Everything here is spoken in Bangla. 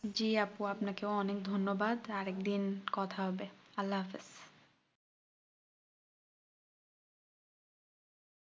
জি আপু আপনাকেও অনেক ধন্যবাদ আর একদিন কথা হবে আল্লাহ হাফেজ